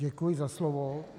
Děkuji za slovo.